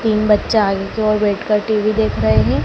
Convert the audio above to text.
तीन बच्चा आगे की ओर बैठकर टी_वी देख रहे हैं।